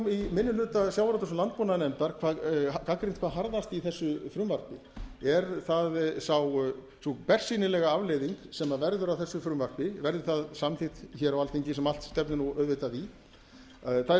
minni hluta sjávarútvegs og landbúnaðarnefndar gagnrýnt hvað harðast í þessu frumvarpi er sú bersýnilega afleiðing sem verður af þessu frumvarpi verði það samþykkt hér á alþingi sem allt stefnir auðvitað í þær